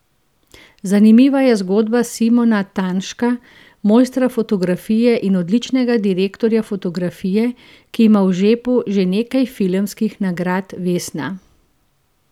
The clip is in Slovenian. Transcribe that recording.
Zanimiva je zgodba Simona Tanška, mojstra fotografije in odličnega direktorja fotografije, ki ima v žepu že nekaj filmskih nagrad vesna.